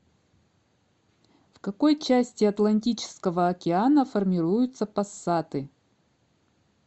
в какой части атлантического океана формируются пассаты